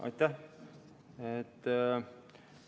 Aitäh!